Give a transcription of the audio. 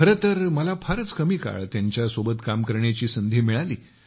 खरे तर मला बराच काळ त्यांच्यासोबत काम करण्याची संधी मिळाली